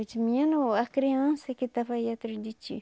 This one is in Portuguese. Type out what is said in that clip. Eu disse, menino, a criança que estava aí atrás de ti.